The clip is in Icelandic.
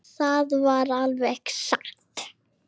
Það var alveg satt.